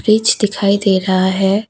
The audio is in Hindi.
ब्रिज दिखाई दे रहा है।